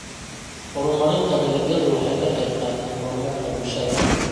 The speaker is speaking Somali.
Horumarinta dalagyadu waxay ka qaybqaataan horumarka bulshada.